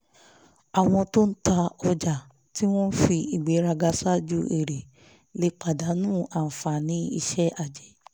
àwọn tó ń ta ọjà tí wọ́n fi ìgbéraga ṣáájú èrè lè pàdánù àǹfààní iṣẹ́ ajé